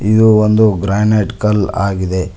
ಇದು ಒಂದು ಗ್ರಾನೈಟ್ ಕಲ್ಲ ಆಗಿದೆ.